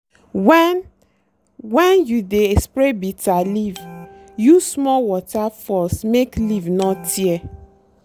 when when you dey spray bitterleaf use small water force make leaf no tear.